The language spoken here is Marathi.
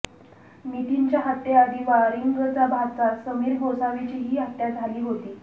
नितीनच्या हत्येआधी वारिंगचा भाचा समीर गोसावीचीही हत्या झाली होती